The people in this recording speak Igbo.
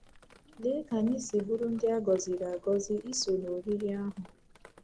Lee ka anyị si bụrụ ndị a gọziri agọzi iso n’oriri ahụ!